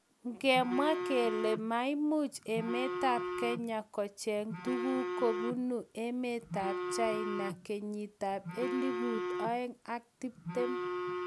ngemwaa kele maimuch emetab Kenya kocheng'u tuguk kobunu emetab China kenyitab elput oeng' ak tiptem.